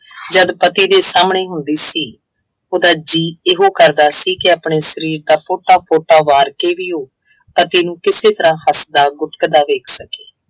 ਜਦ ਪਤੀ ਦੇ ਸਾਹਮਣੇ ਹੁੰਦੀ ਸੀ। ਉਹਦਾ ਜੀਅ ਇਹੋ ਕਰਦਾ ਸੀ ਕਿ ਆਪਣੇ ਸਰੀਰ ਦਾ ਕੋਟਾ ਕੋਟਾ ਵਾਰ ਕੇ ਵੀ ਉਹ ਪਤੀ ਨੂੰ ਕਿਸੇ ਤਰ੍ਹਾ ਹੱਸਦਾ ਗੁੱਟਕਦਾ ਵੇਖ ਸਕੇ।